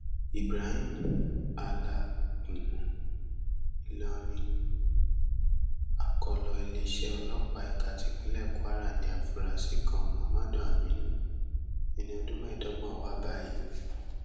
ibrahim alágúnmu ìlọrin akọlọ iléeṣẹ ọlọpàá ẹka tipinlẹ kwara ní àfúrásì kan mohammadu aminu ẹni ọdún mẹẹẹdọgbọn wa báyìí